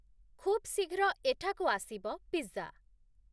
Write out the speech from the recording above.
ଖୁବଶୀଘ୍ର ଏଠାକୁ ଆସିବ ପିଜ୍ଜା